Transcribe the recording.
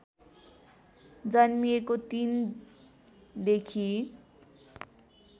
जन्मिएको ३ देखि